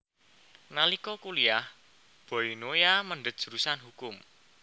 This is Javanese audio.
Nalika kuliyah Boy Noya mendhet jurusan hukum